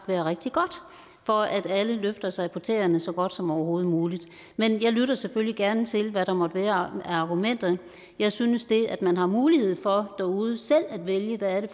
være rigtig godt for at alle løfter sig op på tæerne så godt som overhovedet muligt men jeg lytter selvfølgelig gerne til hvad der måtte være af argumenter jeg synes at det at man har mulighed for derude selv at vælge hvad det